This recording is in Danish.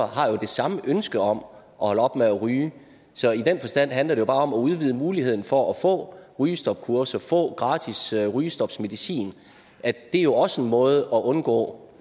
har det samme ønske om at holde op med at ryge så i den forstand handler det om at udvide muligheden for at få rygestopkurser få gratis rygestopmedicin det er jo også en måde at undgå